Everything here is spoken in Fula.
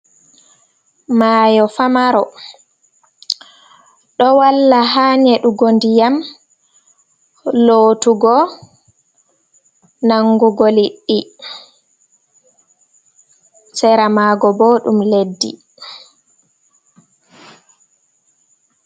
Maayo famaroo, ɗoo walla ha nyeduugo ndiyam, lootuugo, nangugo liƴƴiɗi, seramago boo dum leddi.